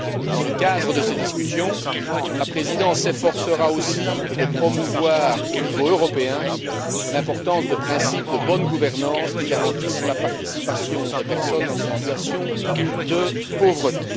Dans le cadre de ces discussions, la Présidence s'efforcera aussi de promouvoir au niveau européen l'importance de principes de bonne gouvernance qui garantissent la participation des personnes en situation de pauvreté.